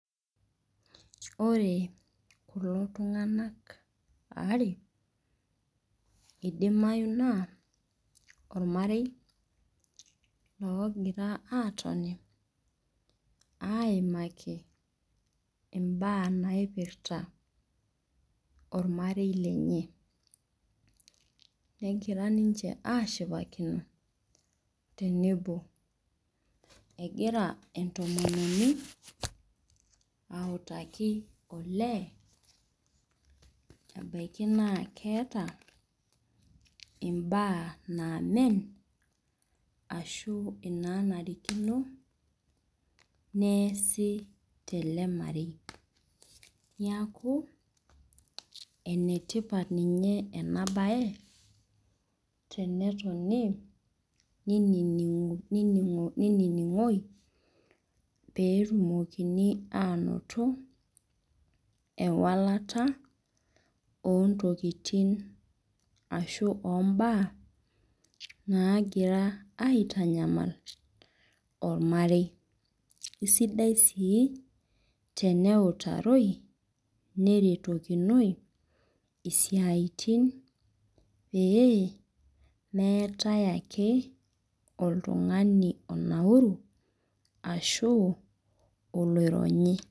Ore kulo tunganak aare idimayu na ormarei ligira atoni aimaki mbaa naipirta ormarei lenye negira ninche ashipakino temebo egira entomononi autaki olee ebaki naa keeta mbaa namen ashu nanarikino neasi telemarei neaku enetipat enabae tenetonu nininingoi petumokini ainoto ewangata ontokitin ashu ombaa nagira aitanyamal ormarei kesidai si teneutarou neretokinoi isiatin oee meetae ake oltungani onauru ashu oloironyi.